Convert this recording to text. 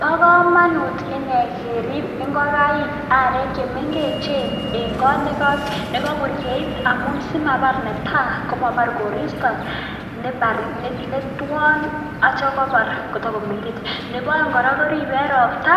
Ba kamanut inei ngerib kingokaik arek chemengechen en kanunaik nekabun angamun netai kosimabar koristo ,Nebo aeng korib en robta